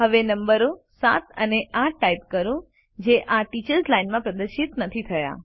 હવે નંબરો ૭ અને ૮ ટાઇપ કરો જે આ ટીચર્સ લાઇન માં પ્રદર્શિત નથી થયા